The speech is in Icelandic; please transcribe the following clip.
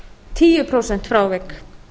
tíu prósent frávik